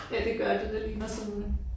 Ja det gør det det ligner sådan